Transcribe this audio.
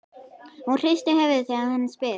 Hún hristir höfuðið þegar hann spyr.